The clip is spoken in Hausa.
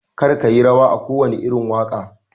Kar kiyi rawa wa kowane irin waƙa